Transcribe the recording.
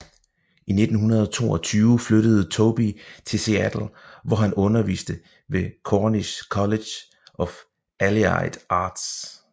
I 1922 flyttede Tobey til Seattle hvor han underviste ved Cornish College of Allied Arts